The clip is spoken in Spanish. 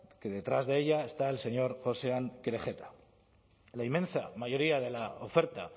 que detrás de ella está el señor josean kerejeta la inmensa mayoría de la oferta